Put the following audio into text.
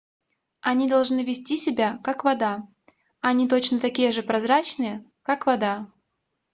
они должны вести себя как вода они точно такие же прозрачные как вода